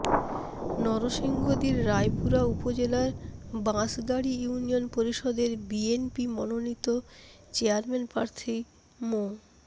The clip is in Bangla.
নরসিংদীর রায়পুরা উপজেলার বাঁশগাড়ী ইউনিয়ন পরিষদের বিএনপি মনোনীত চেয়ারম্যান প্রার্থী মো